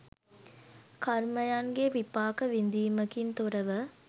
කර්මයන්ගේ විපාක විදීමකින් තොරව